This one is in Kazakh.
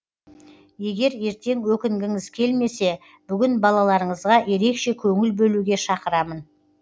егер ертең өкінгіңіз келмесе бүгін балаларыңызға ерекше көңіл бөлуге шақырамын